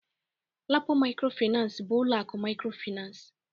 LAPO mikrofinansi bụ ụlọ akụ mikrofinansi.